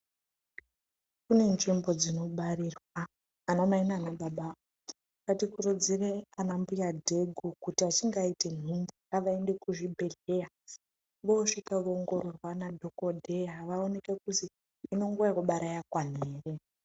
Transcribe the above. Kune nzvimbo dzinobarirwa, anamai nanababa ngatikurudzire anambuya dhegu kuti achinge aite nhumbu ngavaende kuzvibhedhleya vosvika voongororwa nadhokodheya vaonekwe kuzi hino nguwa yekubara yakwana ere.